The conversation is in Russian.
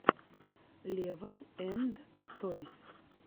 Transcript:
лева энд тойс